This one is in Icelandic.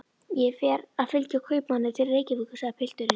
Ég er að fylgja kaupmanni til Reykjavíkur, segir pilturinn.